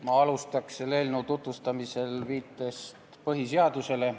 Ma alustan selle eelnõu tutvustamist viitest põhiseadusele.